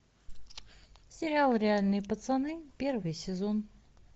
сериал реальные пацаны первый сезон